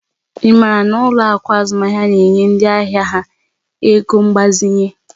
Ị maara ma ụlọ akụ azụmaahịa a na-enye ndị ahịa ha ego mgbazinye?